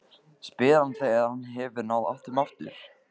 spyr hann þegar hann hefur náð áttum aftur.